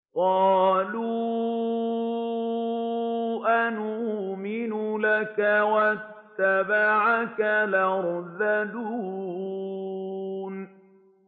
۞ قَالُوا أَنُؤْمِنُ لَكَ وَاتَّبَعَكَ الْأَرْذَلُونَ